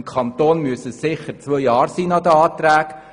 Im Kanton muss die Dauer nach den Anträgen sicher zwei Jahre betragen.